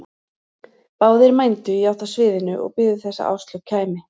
Báðir mændu í átt að sviðinu og biðu þess að Áslaug kæmi.